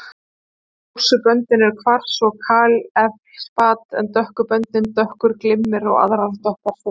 Ljósu böndin eru kvars og kalífeldspat en dökku böndin dökkur glimmer og aðrar dökkar steindir.